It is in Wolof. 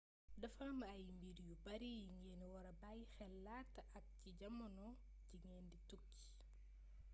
dafa am ay mbir yu bari yi ngeen wara bayyi xel laata ak ci jamono ji ngeen di tukki